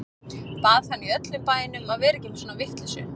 Bað hann í öllum bænum að vera ekki með svona vitleysu.